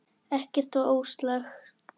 Ekkert var ósagt.